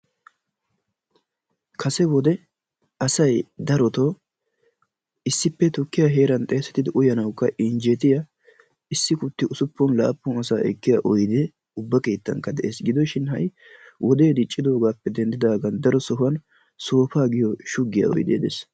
kase wode asay darotoo issippe tukkiyaa heeran xeessetidi uyanawukka injjetiyaa issi kutti usuppunaa laappunaa ekkiyaa oydee ubba keettanikka de'ees. gidoshin ha'i wodee diccidoogappe dendidoogan soofaa giyoo shuggiyaa oydee de'ees.